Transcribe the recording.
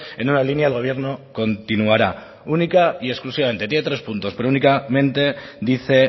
en una línea el gobierno continuará única y exclusivamente tiene tres puntos pero únicamente dice